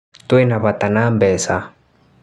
Twina bata na mbeca